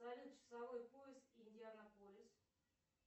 салют часовой пояс индианаполис